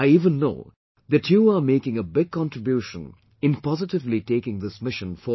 I even know that you are making a big contribution in positively taking this mission forward